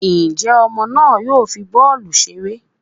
njẹ ọmọ náà yoo fí bọọlu ṣeré?